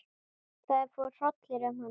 Það fór hrollur um hana.